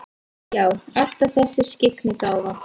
Já, alltaf þessi skyggnigáfa.